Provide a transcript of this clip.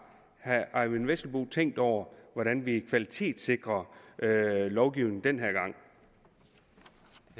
herre eyvind vesselbo tænkt over hvordan vi kvalitetssikrer lovgivningen den